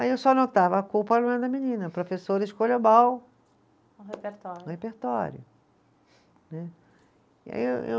Aí eu só anotava, a culpa não é da menina, a professora escolheu mal. O repertório. Repertório, né. E aí, eu